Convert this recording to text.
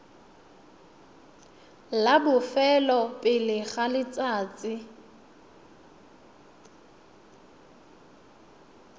la bofelo pele ga letsatsi